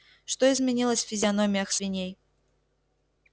что изменилось в физиономиях свиней